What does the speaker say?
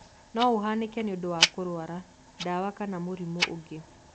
No ũhanĩke nĩũndũ wa kũrwara, ndawa kana mũrimũ ũngĩ.